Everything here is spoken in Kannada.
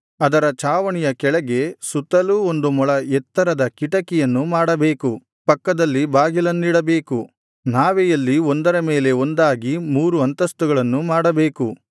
ಅದರ ಚಾವಣಿಯ ಕೆಳಗೆ ಸುತ್ತಲೂ ಒಂದು ಮೊಳ ಎತ್ತರದ ಕಿಟಕಿಯನ್ನು ಮಾಡಬೇಕು ಪಕ್ಕದಲ್ಲಿ ಬಾಗಿಲನ್ನಿಡಬೇಕು ನಾವೆಯಲ್ಲಿ ಒಂದರ ಮೇಲೆ ಒಂದಾಗಿ ಮೂರು ಅಂತಸ್ತುಗಳನ್ನು ಮಾಡಬೇಕು